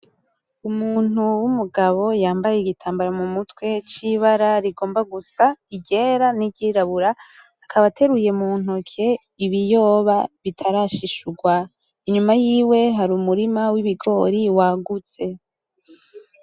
Umuntu w,umugabo yambaye igitambara mu mutwe c'ibara rigomba gusa iryera n'iryirabura akaba ateruye muntoke ibiyoba bitarashishugwa inyuma yiwe hari umurima w,ibigori wagutse .